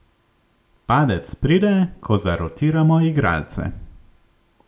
Padec pride, ko zarotiramo igralce.